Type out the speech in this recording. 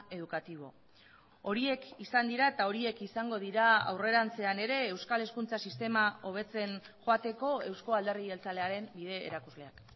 educativo horiek izan dira eta horiek izango dira aurrerantzean ere euskal hezkuntza sistema hobetzen joateko euzko alderdi jeltzalearen bide erakusleak